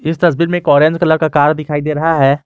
इस तस्वीर में एक ऑरेंज कलर का कार दिखाई दे रहा है।